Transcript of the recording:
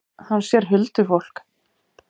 Hann sér huldufólk.